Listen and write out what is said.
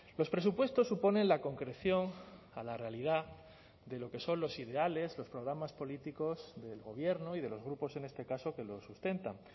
los presupuestos suponen la concreción a la realidad de lo que son los ideales los programas políticos del gobierno y de los grupos en este caso que lo sustentan